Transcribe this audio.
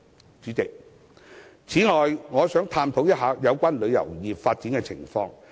代理主席，此外，我想探討一下香港旅遊業的發展情況。